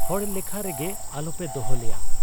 ᱦᱚᱲ ᱞᱮᱠᱷᱟ ᱨᱮᱜᱮ ᱟᱞᱚᱯᱮ ᱫᱚᱦᱚ ᱞᱮᱭᱟ ᱾